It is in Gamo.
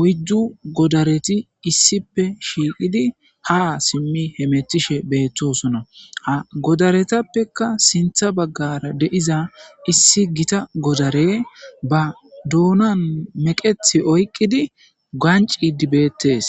oyddu godareti issippe shiiqidi haa simmi hemetishe beettosona. Ha godaretappekka sinththa baggara de'iza issi gita godarey ba doonan meqeththi oyiqqidi ganccidi beettes.